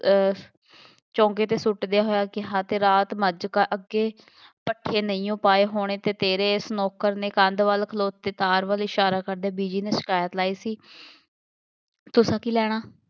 ਅਹ ਚੌਂਕੇ 'ਤੇ ਸੁੱਟਦੇ ਹੋਇਆਂ ਕਿਹਾ ਅਤੇ ਰਾਤ ਮੱਝ ਅੱਗੇ ਪੱਠੇ ਨਹੀਂਓਂ ਪਾਏ ਹੋਣੇ ਅਤੇ ਤੇਰੇ ਇਸ ਨੌਕਰ ਨੇ ਕੰਧ ਵੱਲ ਖਲੋ ਕੇ, ਤਾਰ ਵੱਲ ਇਸ਼ਾਰਾ ਕਰਦੇ ਬੀਜੀ ਨੇ ਸ਼ਿਕਾਇਤ ਲਾਈ ਸੀ ਤੁਸਾਂ ਕੀ ਲੈਣਾ,